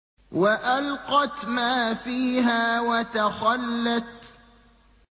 وَأَلْقَتْ مَا فِيهَا وَتَخَلَّتْ